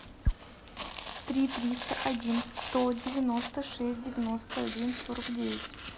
три триста один сто девяносто шесть девяносто один сорок девять